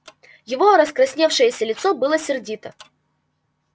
его раскрасневшееся лицо было сердито